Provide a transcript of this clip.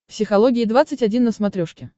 психология двадцать один на смотрешке